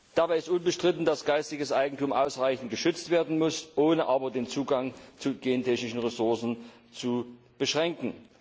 Dabei ist unbestritten, dass geistiges Eigentum ausreichend geschützt werden muss, ohne aber den Zugang zu gentechnischen Ressourcen zu beschränken.